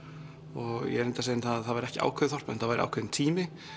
og ég reyndi að segja að það væri ekki ákveðið þorp en þetta væri ákveðinn tími